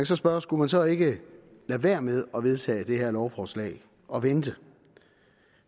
så spørge skulle man så ikke lade være med at vedtage det her lovforslag og vente